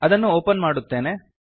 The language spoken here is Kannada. ಅದನ್ನು ಒಪನ್ ಮಾಡುತ್ತೇನೆ